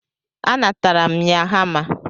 A natara m ya hama.